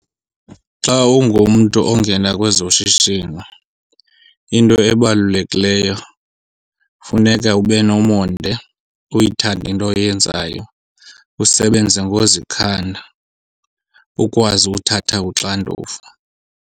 Xa ungumntu ongena kwezoshishino into ebalulekileyo funeka ube nomonde, uyithande into oyenzayo, usebenze ngozikhanda, ukwazi ukuthatha uxanduva.